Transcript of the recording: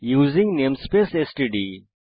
using namespace STD